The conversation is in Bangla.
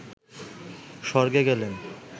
স্বর্গে গেলেন